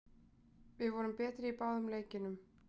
Við vorum betri í báðum leikjunum